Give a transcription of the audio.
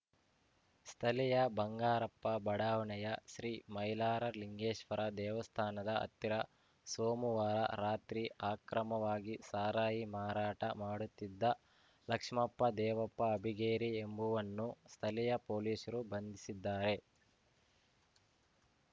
ಸ್ಥಳೀಯ ಬಂಗಾರಪ್ಪ ಬಡಾವಣೆಯ ಶ್ರೀ ಮೈಲಾರಲಿಂಗೇಶ್ವರ ದೇವಸ್ಥಾನದ ಹತ್ತಿರ ಸೋಮುವಾರ ರಾತ್ರಿ ಅಕ್ರಮವಾಗಿ ಸಾರಾಯಿ ಮಾರಾಟ ಮಾಡುತ್ತಿದ್ದ ಲಕ್ಷ್ಮಪ್ಪ ದೇವಪ್ಪ ಅಬ್ಬಿಗೇರಿ ಎಂಬುವನ್ನು ಸ್ಥಳೀಯ ಪೊಲೀಸರು ಬಂಧಿಸಿದ್ದಾರೆ